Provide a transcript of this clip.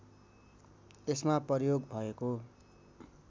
यसमा प्रयोग भएको